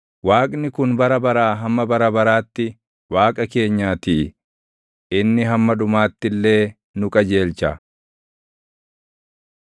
Waaqni kun bara baraa hamma bara baraatti Waaqa keenyaatii; inni hamma dhumaatti illee nu qajeelcha.